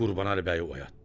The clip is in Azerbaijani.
Qurbanəli bəyi oyatdı.